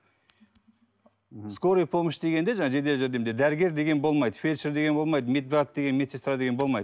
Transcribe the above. скорая помощь дегенде жаңағы жедел жәрдемде дәрігер деген болмайды фельдшер деген болмайды медбрат деген медсестра деген болмайды